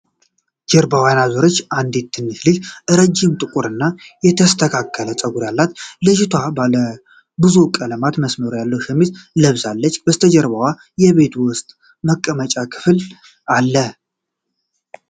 ጀርባዋን ያዞረች አንዲት ትንሽ ልጅ ረዥም፣ ጥቁርና የተስተካከለ ፀጉር አላት። ልጅቷ ባለ ብዙ ቀለም መስመር ያለው ሸሚዝ ለብሳለች፤ ከበስተጀርባው የቤት ውስጥ የመቀመጫ ክፍል አለ።